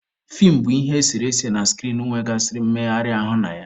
Feem bụ ihe eserese na skrin e nwegasịrị mmegharị ahụ na ya.